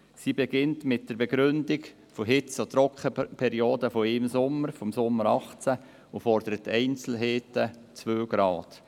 Sie beginnt mit einer Begründung durch eine Hitze- und Trockenperiode während eines Sommers, des Sommers 2018, und fordert Einzelheiten, nämlich zwei Grad.